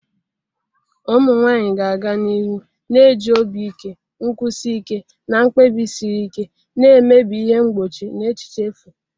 Ụmụ nwanyị ga-aga n'ihu na-eji obi ike, nkwụsi ike, na mkpebi siri ike na-emebi ihe mgbochi na echiche efu.